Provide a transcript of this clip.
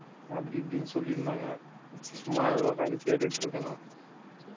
அப்படி இப்படின்னு சொல்லியிருந்தாங்க சும்மா உட்கார்ந்து கேட்டுட்டு இருக்கேண்ணா